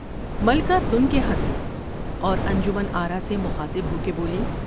ملکہ سن کے جنسی اور انجمن آرا سے مخاطب ہو کے بولی ۔